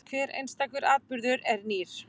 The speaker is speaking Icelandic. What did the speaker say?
Hver einstakur atburður er nýr.